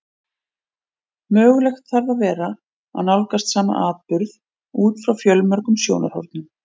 Mögulegt þarf að vera að nálgast sama atburð út frá fjölmörgum sjónarhornum.